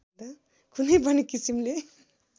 कुनै पनि किसिमले